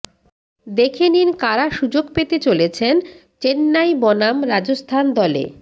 দেখে নিন কারা সুযোগ পেতে চলেছেন চেন্নাই বনাম রাজস্থান দলে